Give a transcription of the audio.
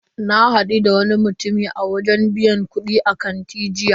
Na hadu da wani mutumi a wajen biyan kudi a kanti jiya.